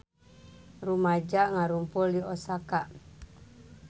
Rumaja ngarumpul di Osaka